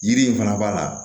Yiri in fana b'a la